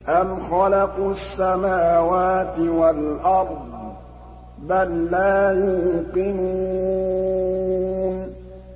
أَمْ خَلَقُوا السَّمَاوَاتِ وَالْأَرْضَ ۚ بَل لَّا يُوقِنُونَ